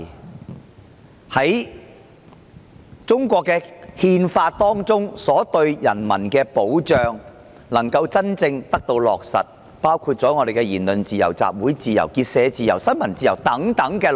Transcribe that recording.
大家都期盼中國憲法對人民的保障能夠真正得到落實，其中包括言論自由、集會自由、結社自由、新聞自由等。